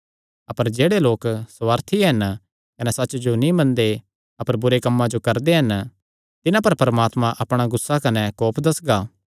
अपर जेह्ड़े लोक सुवार्थी हन कने सच्च जो नीं मनदे अपर बुरे कम्मां जो करदे हन तिन्हां पर परमात्मा अपणा गुस्सा कने कोप दस्सगा